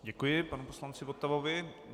Děkuji panu poslanci Votavovi.